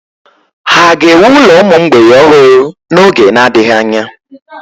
Ha ga-ewu ụlọ ụmụ mgbei ọhụrụ n'oge na-adịghị anya?